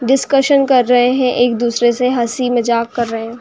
Discussion कर रहे हैं। एक दूसरे से हंसी मजाक कर रहे।